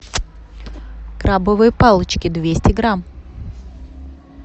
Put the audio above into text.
крабовые палочки двести грамм